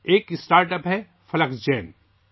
ایک startup Flexgen ہے